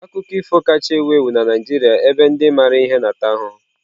Akụkọ ifo kacha ewu ewu na Naijiria ebe ndị maara ihe na-ata ahụhụ.